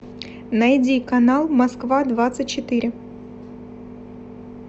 найди канал москва двадцать четыре